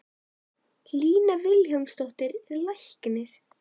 Lína Vilhjálmsdóttir er læknir.